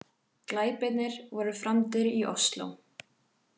Glæpirnir voru framdir í Ósló